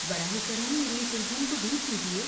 براہ کرم میری اس الجھن کو دور کیجیے۔